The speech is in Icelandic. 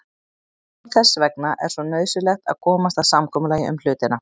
En einmitt þess vegna er svo nauðsynlegt að komast að samkomulagi um hlutina.